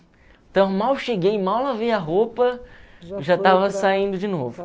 Então eu mal cheguei, mal lavei a roupa e já estava saindo de novo.